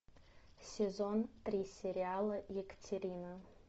сезон три сериала екатерина